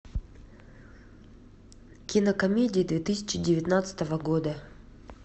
кинокомедии две тысячи девятнадцатого года